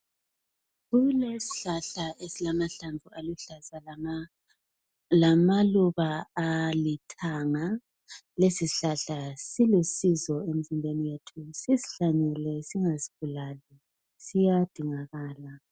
Kulesihlahla isilamahlamvu aluhlaza lamaluba alithanga lesi sihlahla silusizo emzimbeni yethu sishlanyele singasibulali siyadingakala.